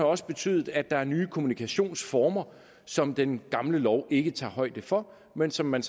også betydet at der er nye kommunikationsformer som den gamle lov ikke tager højde for men som man